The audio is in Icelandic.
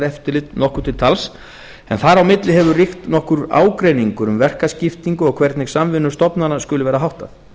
kosningaeftirlit nokkuð til tals en þar á milli hefur ríkt nokkur ágreiningur um verkaskiptingu og hvernig samvinnu stofnana skuli vera háttað